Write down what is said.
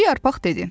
Birinci yarpaq dedi.